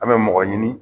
An bɛ mɔgɔ ɲini